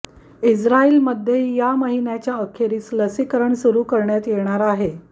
इस्रायलमध्येही या महिन्याच्या अखेरीस लसीकरण सुरू करण्यात येणार आहे